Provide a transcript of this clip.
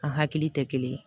A hakili tɛ kelen ye